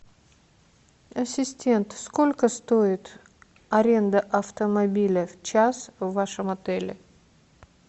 ассистент сколько стоит аренда автомобиля в час в вашем отеле